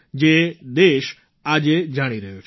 જે દેશ આજે જાણી રહ્યો છે